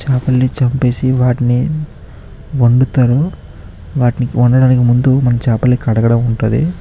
చేపలను చంపేసి వాటిని వండుతారు. వాటిని వండడానికి ముందు చేపల్ని కడగటం ఉంటది.